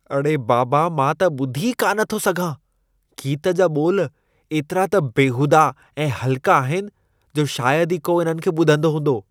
अड़े बाबा मां त ॿुधी ई कान थो सघां ! गीत जा ॿोल एतिरा त बेहूदा ऐं हलका आहिनि, जो शायदि ई को इन्हनि खे ॿुधंदो हूंदो।